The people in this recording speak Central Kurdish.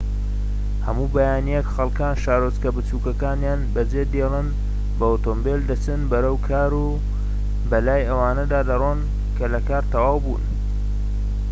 هەموو بەیانیەک خەڵكان شارۆچکە بچوکەکەنیان بەجێدێڵن بە ئۆتۆمبیل دەچن بەرەو کار و بەلای ئەوانەدا دەڕۆن کە لە کار تەواوبوون